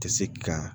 Tɛ se ki ka